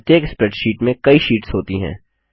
प्रत्येक स्प्रैडशीट में कई शीट्स होती हैं